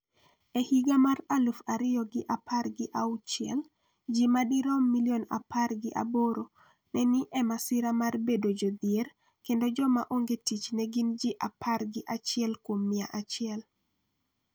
E higa mar aluf ariyo gi apar gi auchiel, ji madirom milion apar gi aboro ne ni e masira mar bedo jodhier kendo joma ongee tich ne gin ji apar gi achiel kuom mia achiel.